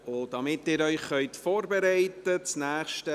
Damit Sie sich vorbereiten können: